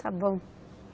Está bom.